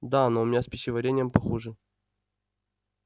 да но у меня с пищеварением похуже